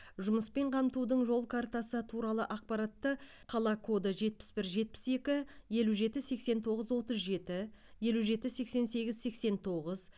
жұмыспен қамтудың жол картасы туралы ақпаратты қала коды жетпіс бір жетпіс екі елу жеті сексен тоғыз отыз жеті елу жеті сексен сегіз сексен тоғыз